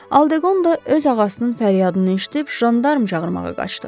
Aldeqonda öz ağasının fəryadını eşidib jandarm çağırmağa qaçdı.